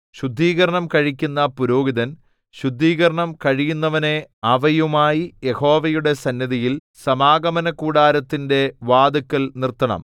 ശുദ്ധീകരണം കഴിക്കുന്ന പുരോഹിതൻ ശുദ്ധീകരണം കഴിയുന്നവനെ അവയുമായി യഹോവയുടെ സന്നിധിയിൽ സമാഗമനകൂടാരത്തിന്റെ വാതില്ക്കൽ നിർത്തണം